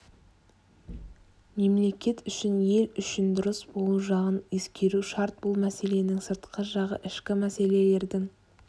мемлекет үшін ел үшін дұрыс болу жағын ескеру шарт бұл мәселенің сыртқы жағы ішкі мәселелердің